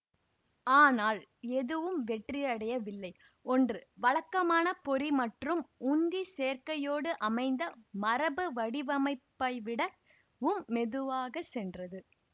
ஆனால் எதுவும் வெற்றியடையவில்லை ஒன்று வழக்கமான பொறி மற்றும் உந்தி சேர்க்கையோடு அமைந்த மரபு வடிவமைப்பைவிட வும் மெதுவாக சென்றது